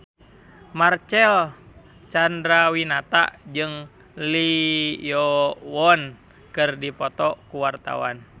Marcel Chandrawinata jeung Lee Yo Won keur dipoto ku wartawan